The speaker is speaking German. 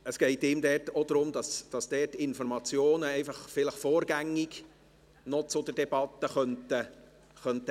Es geht ihm auch darum, dass Informationen vielleicht vorgängig zur Debatte noch eingebracht werden könnten.